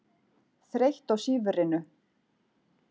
Þreytt á sífrinu.